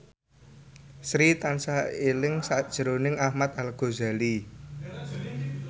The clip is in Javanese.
Sri tansah eling sakjroning Ahmad Al Ghazali